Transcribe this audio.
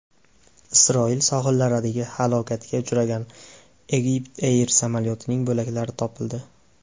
Isroil sohillaridan halokatga uchragan EgyptAir samolyotining bo‘laklari topildi.